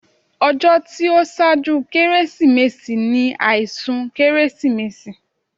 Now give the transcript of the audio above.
Ọjọ́ tí ó ṣáájú Kérésìmesì ni àìsùn Kérésìmesì